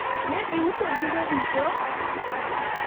ne iuso buge duto?